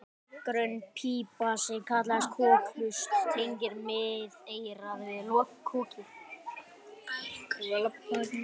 grönn pípa sem kallast kokhlust tengir miðeyrað við kokið